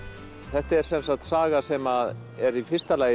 þetta er sem sagt saga sem er í fyrsta lagi